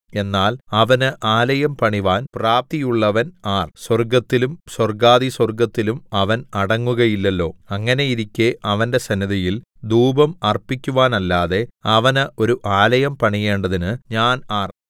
എന്നാൽ അവന് ആലയം പണിവാൻ പ്രാപ്തിയുള്ളവൻ ആർ സ്വർഗ്ഗത്തിലും സ്വർഗ്ഗാധിസ്വർഗ്ഗത്തിലും അവൻ അടങ്ങുകയില്ലല്ലോ അങ്ങനെയിരിക്കെ അവന്റെ സന്നിധിയിൽ ധൂപം അർപ്പിക്കുവാനല്ലാതെ അവന് ഒരു ആലയം പണിയേണ്ടതിന് ഞാൻ ആർ